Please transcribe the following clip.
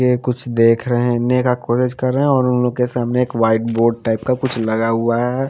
ये कुछ देख रहे है देखने का कोशिश कर रहे है और उन लोगो के सामने एक वाइट बोर्ड टाइप का कुछ लगा हुआ है।